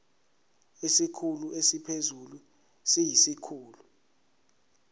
isikhulu esiphezulu siyisikhulu